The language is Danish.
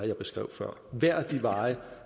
jeg beskrev før hver af de veje